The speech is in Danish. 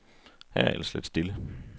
Her er ellers lidt stille.